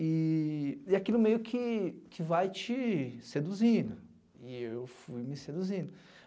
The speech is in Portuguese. E aquilo meio que que vai te seduzindo, e eu fui me seduzindo.